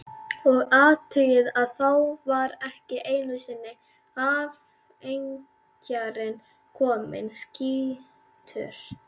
Og athugið að þá var ekki einusinni afleggjarinn kominn, skýtur